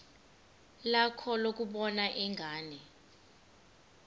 lakho lokubona ingane